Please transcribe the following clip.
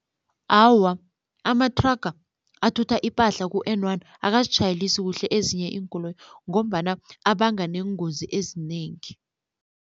Awa, amathraga athutha ipahla ku-N one akazitjhayelisi kuhle ezinye iinkoloyi ngombana abanga neengozi ezinengi.